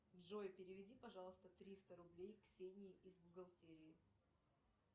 джой переведи пожалуйста триста рублей ксении из бухгалтерии